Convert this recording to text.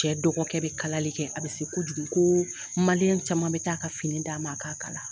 Cɛ dɔgɔkɛ bɛ kalali kɛ a bɛ se kojugu ko Maliyɛn caman bɛ taa a ka fini d'a ma a k'a kala